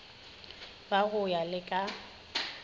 ba go ya le ka